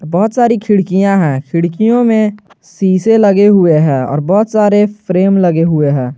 बहुत सारी खिड़कियां हैं खिड़कियों में शीशे लगे हुए हैं और बहुत सारे फ्रेम लगे हुए हैं।